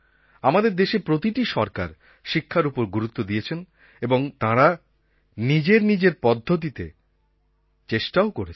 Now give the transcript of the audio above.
আমাদের দেশের প্রতিটি সরকার শিক্ষার ওপর গুরুত্ব দিয়েছেন এবং তাঁরা নিজের নিজের পদ্ধতিতে চেষ্টাও করেছেন